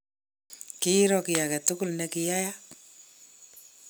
kiiro kiy age tugul ne kiyaaka